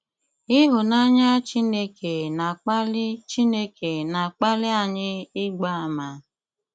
Ị́hụ́nanyà Chineke na-akpali Chineke na-akpali anyị ị́gba àmà.